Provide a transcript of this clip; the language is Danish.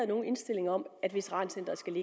nogen indstilling om at veterancenteret skal